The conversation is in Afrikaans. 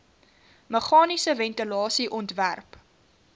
meganiese ventilasie ontwerp